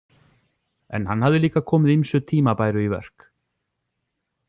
En hann hafði líka komið ýmsu tímabæru í verk.